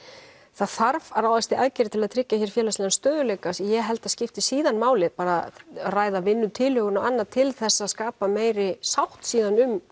það þarf að ráðast í aðgerðir til að tryggja hér félagslegan stöðugleika en ég held að skipti síðan máli að ræða vinnutilhögun og annað til þess að skapa meiri sátt síðan um